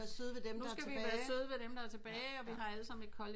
Skal vi være søde ved dem der tilbage